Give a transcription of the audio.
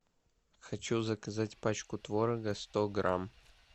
хочу заказать пачку творога сто грамм